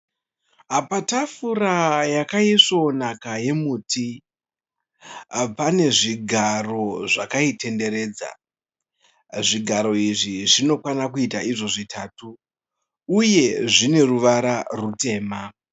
Patafura yakaisvonaka yemuti , pane zvigaro zvakaitenderedza. Zvigaro izvi zvinokwana kuita zvitatu uye zvine ruvara rutema.